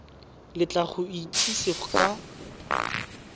le tla go itsise ka